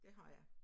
Det har jeg